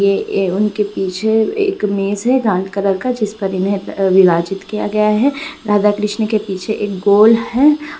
ये ए उनके पीछे एक मेज है कलर का जिसपर इन्हें अ विराजित किया गया है। राधा-कृष्णा के पीछे एक गोल है।